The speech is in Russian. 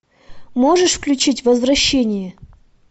можешь включить возвращение